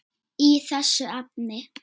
í þessu efni.